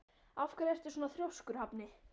Af hverju ertu svona þrjóskur, Hafni?